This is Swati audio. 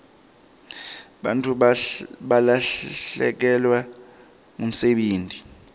bantfu balahlekelwa ngumsebenti